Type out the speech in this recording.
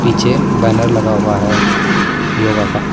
Banner लगा हुआ है योग का।